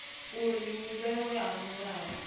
uri u vhewa ha milayo